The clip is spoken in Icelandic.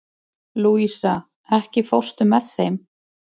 Louisa, ekki fórstu með þeim?